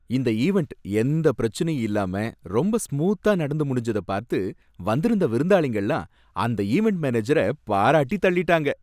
இந்த ஈவண்ட் எந்த பிரச்சனையும் இல்லாம ரொம்ப ஸ்மூத்தா நடந்து முடிஞ்சத பார்த்து வந்திருந்த விருந்தாளிங்க எல்லாம் அந்த ஈவண்ட் மேனேஜர பாராட்டி தள்ளிட்டாங்க